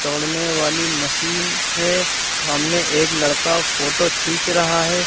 वाली मशीन है सामने एक लड़का फोटो खींच रहा है।